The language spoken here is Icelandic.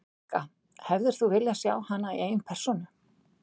Helga: Hefðir þú viljað sjá hana í eigin persónu?